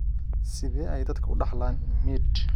Sidee ayay dadku u dhaxlaan MID?